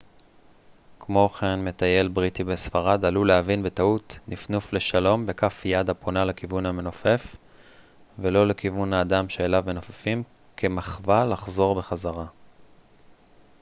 כמו כן מטייל בריטי בספרד עלול להבין בטעות נפנוף לשלום בכף יד הפונה לכיוון המנופף ולא לכיוון האדם שאליו מנופפים כמחווה לחזור בחזרה